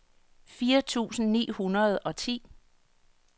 fire tusind ni hundrede og ti